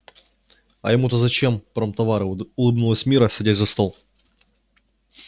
а ему то зачем промтовары улыбнулась мирра садясь за стол